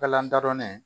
Balan dadɔnnen